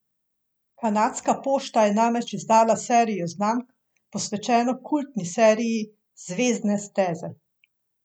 Kanadska pošta je namreč izdala serijo znamk, posvečeno kultni seriji Zvezdne steze.